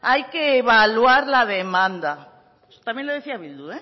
hay que evaluar la demanda eso también lo decía bildu